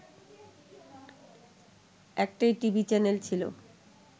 একটাই TV channel ছিল